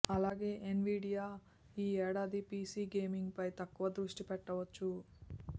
అలాగే ఎన్విడియా ఈ ఏడాది పిసి గేమింగ్పై తక్కువ దృష్టి పెట్టవచ్చు